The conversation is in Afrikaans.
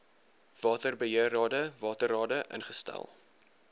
waterbeheerrade waterrade ingestel